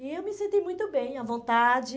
E eu me senti muito bem, à vontade.